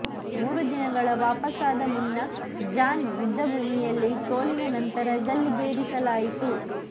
ಮೂರು ದಿನಗಳ ವಾಪಸಾದ ಮುನ್ನ ಜಾನ್ ಯುದ್ಧಭೂಮಿಯಲ್ಲಿ ಸೋಲಿನ ನಂತರ ಗಲ್ಲಿಗೇರಿಸಲಾಯಿತು